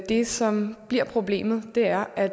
det som bliver problemet er at